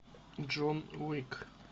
джон уик